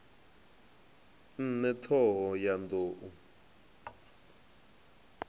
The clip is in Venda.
ṋne t hoho ya nḓou